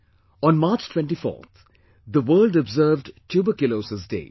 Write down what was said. On March 24th, the world observed Tuberculosis Day